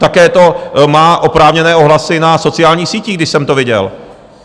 Také to má oprávněné ohlasy na sociálních sítích, když jsem to viděl.